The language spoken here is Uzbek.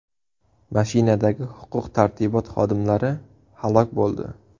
Mashinadagi huquq-tartibot xodimlari halok bo‘ldi.